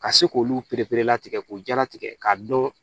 Ka se k'olu pereperelatigɛ k'o jalatigɛ k'a dɔn